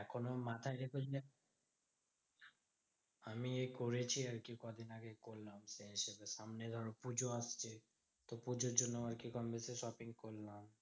এখনো মাথায় আমি করেছি আরকি কদিন আগে করলাম। সামনে ধরো পুজো আসছে, তো পুজোর জন্য আরকি কম বেশি shopping করলাম।